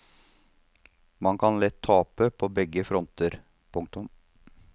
Man kan lett tape på begge fronter. punktum